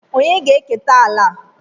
Ònye ga-eketa ala a?